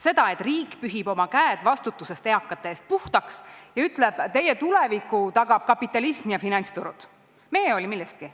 Seda, et riik pühib oma käed vastutusest eakate ees puhtaks ja ütleb, et teie tuleviku tagavad kapitalism ja finantsturud, me ei hooli millestki.